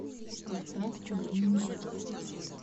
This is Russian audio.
поставь семейный брак